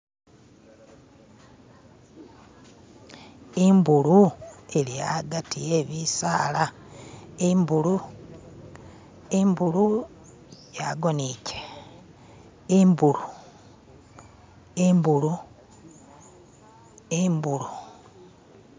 Imbulu ili hagati he bisaala imbulu imbulu yagoniche imbulu imbulu imbulu